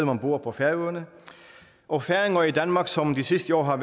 man bor på færøerne og færinger i danmark som de sidste år har